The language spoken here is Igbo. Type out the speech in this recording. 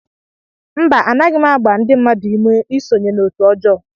Mba, Anaghị m agba ndị mmadụ ume isonye na otu ọjọọ